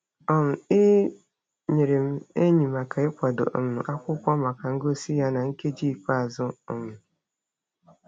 um E nyeere m enyi maka ịkwado um akwụkwọ maka ngosi ya na nkeji ikpeazụ. um